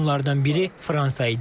Onlardan biri Fransa idi.